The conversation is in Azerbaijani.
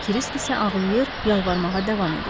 Krisk isə ağlayır, yalvarmağa davam edirdi.